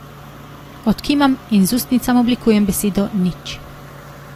Odkimam in z ustnicami oblikujem besedo nič.